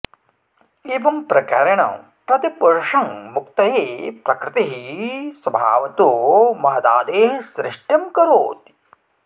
एवं प्रकारेण प्रतिपुरुषं मुक्तये प्रकृतिः स्वभावतो महदादेः सृष्टिं करोति